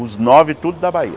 Os nove, tudo na Bahia.